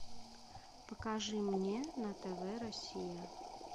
покажи мне на тв россия